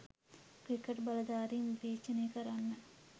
cricket බලධාරීන් විවේචනය කරන්න